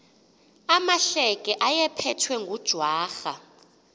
amahleke ayephethwe ngujwarha